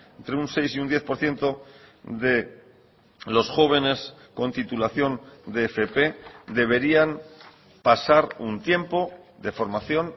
entre un seis y un diez por ciento de los jóvenes con titulación de fp deberían pasar un tiempo de formación